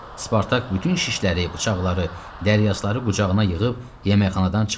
Spartak bütün şişləri, bıçaqları, dəryaşları qucağına yığıb yeməkxanadan çıxdı.